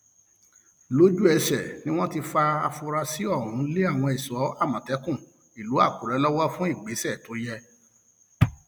lójúẹsẹ ni wọn ti fa afurasí ọhún lé àwọn ẹṣọ àmọtẹkùn ìlú àkùrẹ lọwọ fún ìgbésẹ tó yẹ